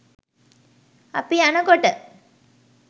අපි යනකොට